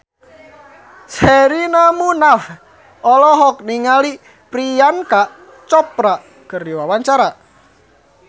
Sherina Munaf olohok ningali Priyanka Chopra keur diwawancara